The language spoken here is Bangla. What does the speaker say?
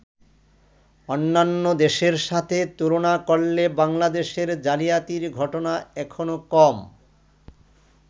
অন্যান্য দেশের সাথে তুলনা করলে বাংলাদেশে জালিয়াতির ঘটনা এখনো কম।